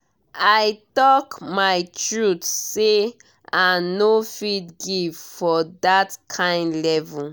i talk my truth say i no fit give for that kyn level